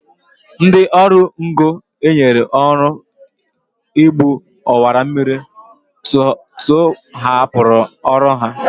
Ndị ọrụ ngo e nyere ọrụ igbu ọwammiri tụhapụrụ ọrụ ha